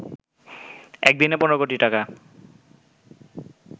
একদিনে ১৫ কোটি টাকা